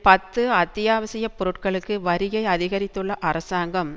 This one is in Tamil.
பத்து அத்தியாவசிய பொருட்களுக்கு வரியை அதிகரித்துள்ள அரசாங்கம்